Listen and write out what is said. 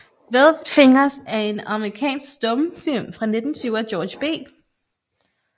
Velvet Fingers er en amerikansk stumfilm fra 1920 af George B